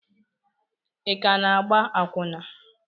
ị ka na-agba akwụna?